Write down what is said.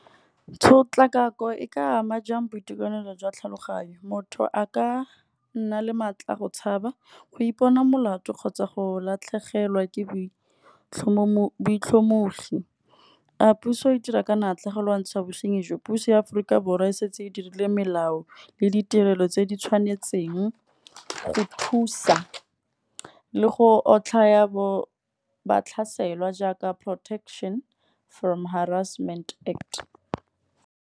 Tshotlakako e ka ama jang boitekanelo jwa tlhaloganyo, motho a ka nna le maatla go tshaba go ipona molato kgotsa go latlhegelwa ke boitlhomogi. A puso e dira ka natla go lwantsha bosinyi jo, puso ya Aforika Borwa e setse e dirile melao le ditirelo tse di tshwanetseng, go thusa le go otlhaya batlhaselwa jaaka protection from harassment act.